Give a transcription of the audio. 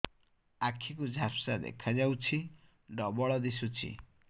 ଆଖି କୁ ଝାପ୍ସା ଦେଖାଯାଉଛି ଡବଳ ଦିଶୁଚି